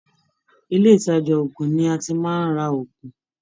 Ilé ìtàjà ògùn ní a tí màá n rá ògùn.